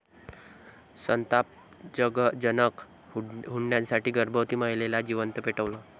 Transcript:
संतापजनक!, हुंड्यासाठी गर्भवती महिलेला जिवंत पेटवलं